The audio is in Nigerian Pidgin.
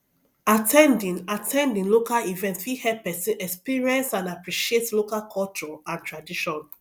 at ten ding at ten ding local events fit help person experience and appreciate local culture and tradition